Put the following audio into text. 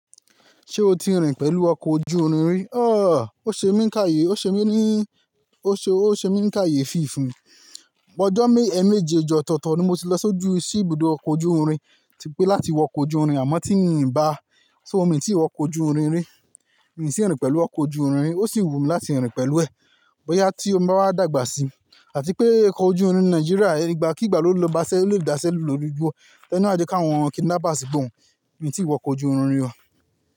Ṣé o ti rìn pẹ̀lú ọkọ̀ ojú irin rí? Ó ṣe mí ń káye, ó ṣe mí ní, ó ṣe, ó ṣe mí ń káyefì fùnmi. Ọjọ́ mé, eemejeeji ọ̀tọ̀ọ̀tọ̀ ni mo ti lọ sójú sí ibùdó ọkọ̀ ojú irin, ti pé láti wọ ọkọ̀ ojú irin, àmọ́ tí mii ǹ bá, ṣó mi ti wọ ọkọ̀ ojú irin rí. Mi kò tíì rìn pẹ̀lú ọkọ̀ ojú irin rí, ó sì wù mí láti rìn pẹ̀lú ẹ̀, bóyá tí n báwa dàgbà sí. Àti pé ọkọ̀ ojú irin Nàìjíríà ígbàkigbà ló bá ṣẹ́, ló lè dáṣẹ́ lórí igbó, tani o wà je kàwọn kidnappers gbọ̀n. Mi kò tíì wọ ọkọ̀ ojú irin rí.